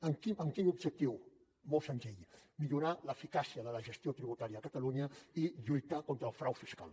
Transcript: amb quin objectiu molt senzill millorar l’eficàcia de la gestió tributària a catalunya i lluitar contra el frau fiscal